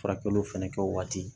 Furakɛliw fɛnɛ kɛ o waati